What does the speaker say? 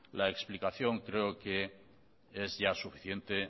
la explicación creo que ya es suficiente